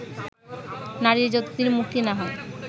নারীর যতদিন মুক্তি না হয়